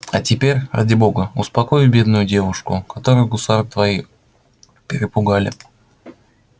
а теперь ради бога успокой бедную девушку которую гусары твои перепугали